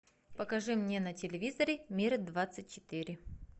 покажи мне на телевизоре мир двадцать четыре